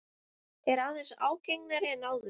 Er aðeins ágengari en áður.